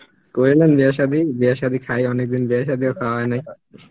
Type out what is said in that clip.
করে নেন বিয়ে সাদি, বিয়ে সাদি, খাই, অনেকদিন বিয়ে সাদি ও খাওয়া হয় নাই